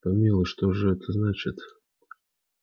помилуй что же это значит